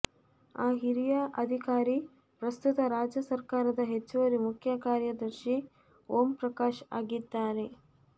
ಆ ಹಿರಿಯ ಅಧಿಕಾರಿ ಪ್ರಸ್ತುತ ರಾಜ್ಯ ಸರಕಾರದ ಹೆಚ್ಚುವರಿ ಮುಖ್ಯ ಕಾರ್ಯದರ್ಶಿ ಓಂ ಪ್ರಕಾಶ್ ಆಗಿದ್ದಾರೆ